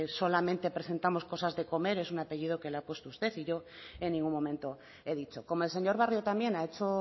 solamente presentamos cosas de comer es un apellido que lo ha puesto usted y yo en ningún momento he dicho como el señor barrio también ha hecho